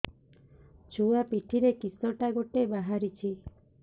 ଛୁଆ ପିଠିରେ କିଶଟା ଗୋଟେ ବାହାରିଛି